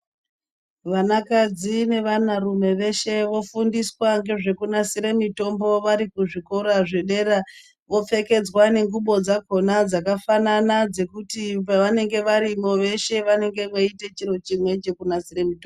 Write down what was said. Vanakadzi nevanarume veshe vofundiswa ngezvekunasire nmitombo, vari kuzvikora zvedera, vopfekedzwa nengubo dzakhona dzakafanana dzekuti pevanenge varimo veshe vanenge veiite chiro chimwe chekunasire mitombo.